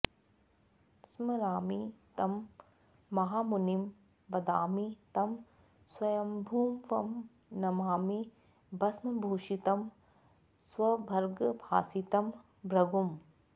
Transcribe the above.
स्मरामि तं महामुनिं वदामि तं स्वयम्भुवं नमामि भस्मभूषितं स्वभर्गभासितं भृगुम्